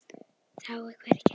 Þá er hvergi að sjá.